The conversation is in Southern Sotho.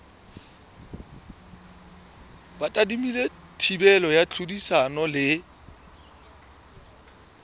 tadimilwe thibelo ya tlhodisano le